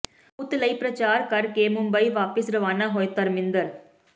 ਪੁੱਤ ਲਈ ਪ੍ਰਚਾਰ ਕਰਕੇ ਮੁੰਬਈ ਵਾਪਿਸ ਰਵਾਨਾ ਹੋਏ ਧਰਮਿੰਦਰ